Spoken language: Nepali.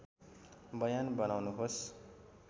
बयान बनाउनुहोस्